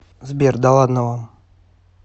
сбер да ладно вам